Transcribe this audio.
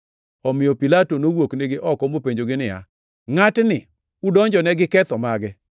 Omiyo Pilato nowuoknigi oko mopenjogi niya, “Ngʼatni udonjone gi ketho mage?”